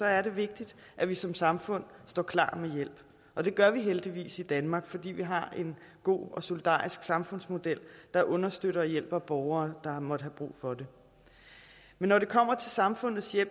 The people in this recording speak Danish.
er det vigtigt at vi som samfund står klar med hjælp og det gør vi heldigvis i danmark fordi vi har en god og solidarisk samfundsmodel der understøtter og hjælper borgere der måtte have brug for det men når det kommer til samfundets